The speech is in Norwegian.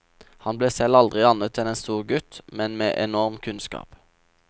Han ble selv aldri annet enn en stor gutt, men med enorm kunnskap.